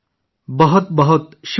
بہت بہت شکریہ!